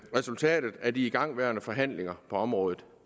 resultatet af de igangværende forhandlinger på området